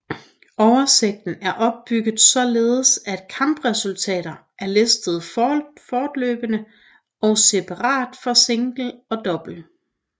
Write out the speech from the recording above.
Oversigten er opbygget således at kampresultater er listet fortløbende og separat for single og double